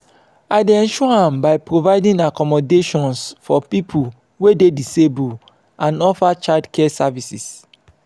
i dey ensure am by providing accommodations for people wey dey disabled and offer childcare services.